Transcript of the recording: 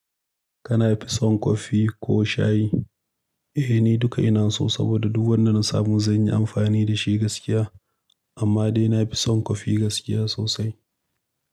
Kana fi son kofi ko shayi? Eh, ni duka ina so saboda duk wanda na samu zan yi amfani da shi gaskiya. Amma dai na fi son kofi gaskiya sosai.